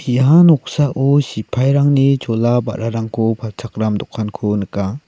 ia noksao sipairangni chola ba·rarangko palchakram dokanko nika.